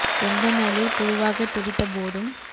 செந்தனலில் புழுவாகத் துடித்த போதும்